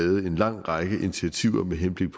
en lang række initiativer med henblik